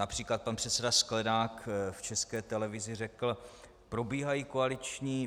Například pan předseda Sklenák v České televizi řekl: